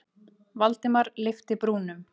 Valdimar lyfti brúnum.